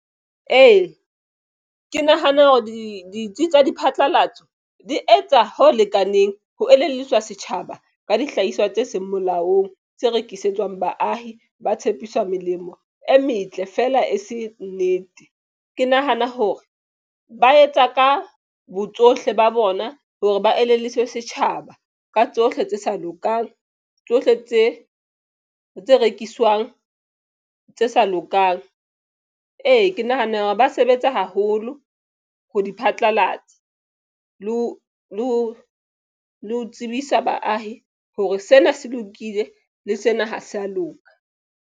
Ee, ke nahana hore ditsi diphatlalatso di etsa ho lekaneng ho elelliswa setjhaba ka dihlahiswa tse seng molaong tse rekisetswang baahi ba tshepiswa melemo e metle fela e se nnete. Ke nahana hore ba etsa ka bo tsohle ba bona hore ba elelliswa setjhaba ka tsohle tse sa lokang tsohle tse tse rekiswang tse sa lokang. Ee, ke nahana hore ba sebetsa haholo ho di phatlalatsa le ho tsebisa baahi hore sena se lokile le sena ha se a loka.